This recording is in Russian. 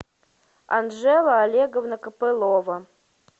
анжела олеговна копылова